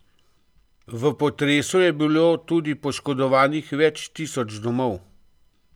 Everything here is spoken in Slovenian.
V potresu je bilo tudi poškodovanih več tisoč domov.